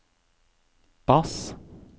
bass